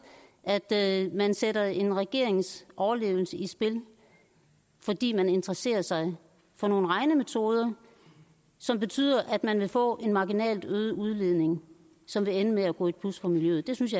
at man sætter en regerings overlevelse i spil fordi man interesserer sig for nogle regnemetoder som betyder at man vil få en marginalt øget udledning som vil ende med at gå i plus for miljøet det synes